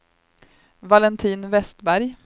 Valentin Westberg